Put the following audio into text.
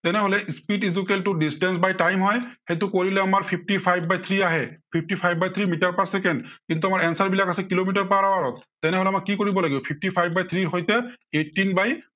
তেনেহলে speed equal distance by time হয়। সেইটো কৰিলে আমাৰ fifty five by three আহে, fifty five by three metre per second, কিন্তু আমাৰ answer বিলাক আছে কিলোমিটাৰ per hour ত' তেনেহলে আমাক কি কৰিব লাগিব fifty five by three ৰ সৈতে eighteen by